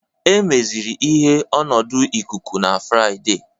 Emeziri ihe ọnọdụ ikuku na Fraịde